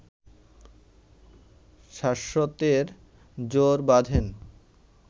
শাশ্বতের জোড় বাঁধেন